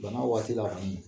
Bana waati la kɔni